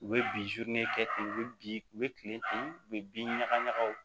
U bɛ bi kɛ ten u bɛ bin u bɛ kilen ten u bɛ bin ɲagaɲagaw